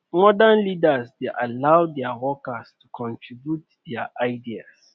modern leaders dey allow their workers to contribute their ideas